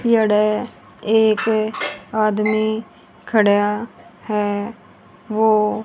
एड़ा एक आदमी खड़ा है वो--